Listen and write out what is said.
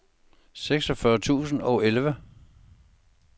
seksogfyrre tusind og elleve